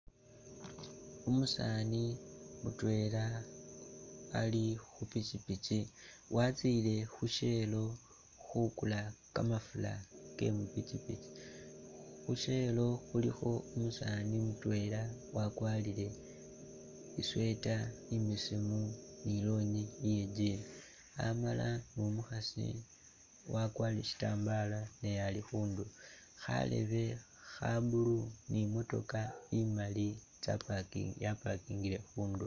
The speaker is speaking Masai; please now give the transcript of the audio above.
Umusaani mutwela Ali khupikyipikyi watsile khu'shell khukula kamafura kemu pikyipikyi khu'shell khulikho umusaani mutwela wakwarile i'sweater imbesemu ni lonyi iye jean amala numukhasi wakwarile sitambala naye ali khundulo kharebe kha'blue ni i'motoka imaali tsa'parki ya'parkingile khundulo